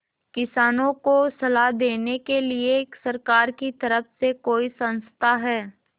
किसानों को सलाह देने के लिए सरकार की तरफ से कोई संस्था है